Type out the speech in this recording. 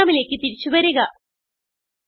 പ്രോഗ്രാമിലേക്ക് തിരിച്ചു വരിക